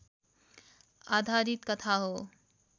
आधारित कथा हो